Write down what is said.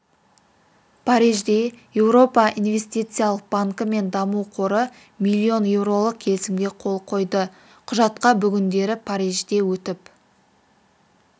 парижде еуропа инвестициялық банкі мен даму қоры миллион еуролық келісімге қол қойды құжатқа бүгіндері парижде өтіп